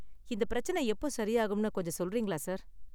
இந்த பிரச்சனை எப்போ சரியாகும்னு கொஞ்சம் சொல்றீங்களா சார்?